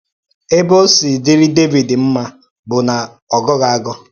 Ebe ọ̀ si dịrị Dẹvid mma bụ na ọ gọghị agọ.